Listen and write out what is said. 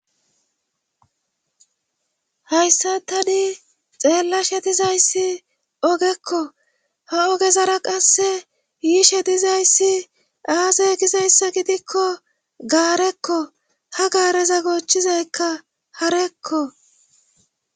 Hayssa tani xeella she dizayssi ogekko ha ogezara qasse yiishe dizayssi aasey gizayssa gidikko gaarekko ha gaareza gochizaykka harekko.